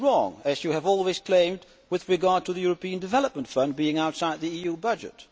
This is wrong, as you have always claimed, with regard to the European Development Fund being outside the EU budget.